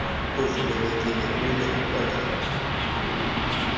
uvumelekile ume kwelona